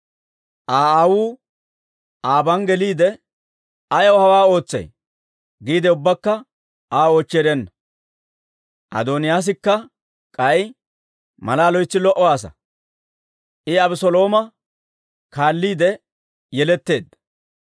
Aa aawuu aban geliide, «Ayaw hawaa ootsay?» giide ubbakka Aa oochchi erenna. Adooniyaasikka k'ay malaa loytsi lo"o asaa; I Abeselooma kaalliide yeletteedda.